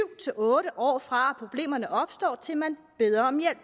otte år fra problemerne opstår til man beder om hjælp